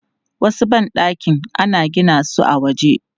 Wasu ban ɗakin ana gina su a waje.